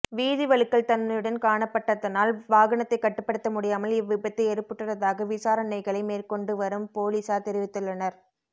வீதி வழுக்கல் தன்மையுடன் காணப்பட்டதனால் வாகனத்தை கட்டுப்படுத்த முடியாமல் இவ்விபத்து ஏற்பட்டுள்ளதாக விசாரணைகளை மேற்கொண்டு வரும் பொலிஸார் தெரிவித்துள்ளனர்